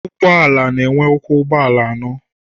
Ụgbọala na-enwe ụkwụ ụgbọala ano